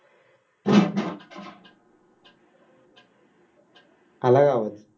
आला गावात